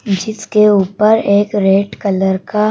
जिसके ऊपर एक रेड कलर का--